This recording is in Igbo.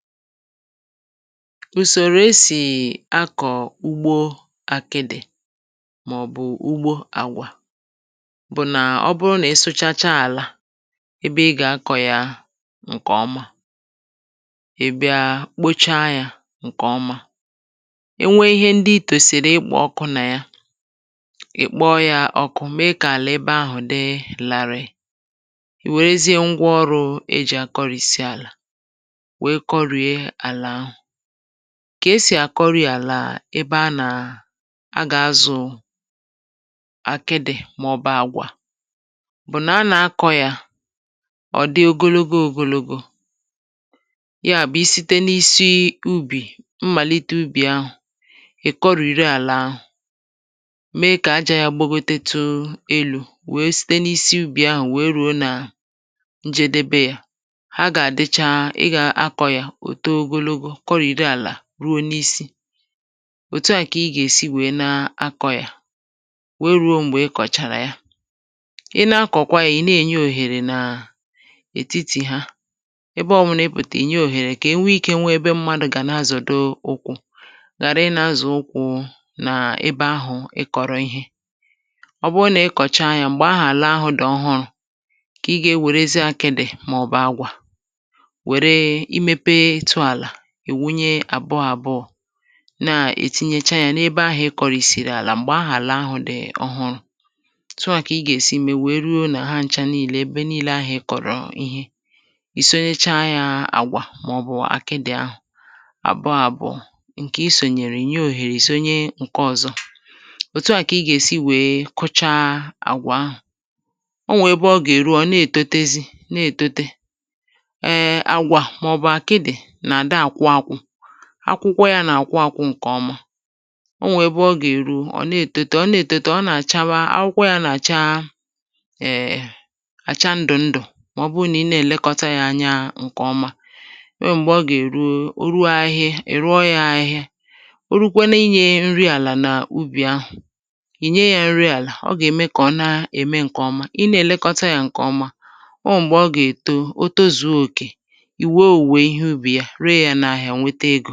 ùsòrò esì akọ̀ ugbo akịdị̀, mà ọ̀ bụ̀ ugbo àgwà bụ̀ nà ọ bụnà ịsụchacha àlà ebe ị gà akọ̄ ya ǹkẹ̀ ọma, ị̀ bia kpocha ya ǹkè ọma, e nwe ihe ndị I kwèsìrì ịkpọ ọkụ nà ya, ị̀ kpọ ya ọkụ me kà ebe ahụ̀ dị larịị, wèrezịa ngwa ọrụ̄ e jì àkọrìsi àlà, wẹ kọrìe àlà. kà e sì à kọrị àlà ebe a gà azụ̀ àkịdị̀, mà ọ̀ bụ̀ àgwà, bụ̀ nà a nà akọ̄ ya, ọ̀ dị ogologo ogologo. yà bụ̀ isite n’isi ubì, yà bụ̀ mmàlite ubì ahụ̀, ị̀ kọrìwe àlà, me kà ajā ya gbagotetu elū, we site n’isi ubì ahụ̀ wèe rùe nà ǹjẹdẹbẹ ya. ha gà àịcha, ị gà akọ̄ ya, ò too ogologo kọrìbe àlà ruo n’isi. òtu à kà ị gà èsi wẹ̀ẹ na akọ̄ ya, wèe ruo m̀gbè ị kọ̀chàrà ya. ị na akọ̀kwa ya, ị̀ nà ènye òhèrè nà ètitì ha, ẹbẹ ọbụlà ị pụ̀tàrà, ị̀ nyẹ òhèrè kà e nwe ike ị nwẹ ẹbẹ mmadū gà na azọ̀do ukwū, ghàra ị na azọ̀ ukwū nà ebe ahụ̀ ị kọ̀rọ̀ ịhẹ. ọ bụ nà ị kọ̀cha ya m̀gbẹ̀ ahụ̀ àla ahụ̄ dị̀ ọhụrụ̄, kà ị gà ewèrezị akịdị̀ mà ọ̀ bụ̀ àgwà, wère I mepe ịtụ̄ àlà, ị̀ wunye àbụọ̄ àbụọ̄, nà ètinyecha ya n’ebe ahụ̄ ị kọrị̀sị̀rị̀ àlà, m̀gbè ahụ̀ àla ahụ̀ dị̀ ọhụrụ̄, otu à kà ị gà èsi wẹ̀ẹ mẹ ruo nà hancha nille ebe nille ahụ ị kọ̀rọ̀ ihe, ì sonyecha ya àgwà mà ọ̀ bụ̀ àkịdị̀, àbụọ àbụ̀ọ. ǹkè ị sònyèrè, ì nye òhèrè, ì sonye ǹkẹ ọ̀zọ. òtu à kà ị gà èsi wẹ kụcha àgwà ahụ̀. ọ nwẹ ẹbẹ ọ gà èru, ọ̀ nà ètotezi, nà ètotezi. ẹ, àgwà mà ọ̀ bụ̀ àkịdị̀ nà àdà àkwụ akwụ, akwụkwọ y anà àkwụ akwụ ǹkè ọma. ọ nwẹ̀ ẹbẹ ọ gà èru, ọ̀ nà ètote, ọ nà ètote, ọ̀ nà àchawa, akwụkwọ y anà àcha, ẹ̀, àcha ndụ̀ ndụ̀, mà ọ bụ nà ị nà ẹlẹkọta yā ǹkẹ̀ ọma. ọ nwẹ m̀gbẹ̀ ọ gà èru, o ruo ahịhịa, ị̀ rụọ ya ahịhia. o rukwenu ịnyẹ̄ ya nri àlà n’ubì ahụ̀, ị̀ nyẹ ya nri àlà. ọ gà ème kà ọ na ème ǹkẹ̀ ọma, ị nà èlekọta yā ǹkè ọma, ọ nwẹ̀ m̀gbẹ̀ ọ gà èto, o tozùo òkè, ì wo òwùwò ihe ubì, re ya n’ahịa, nwete egō